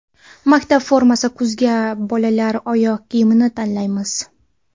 Maktab formasi: Kuzga bolalar oyoq kiyimini tanlaymiz.